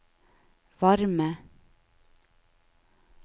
varme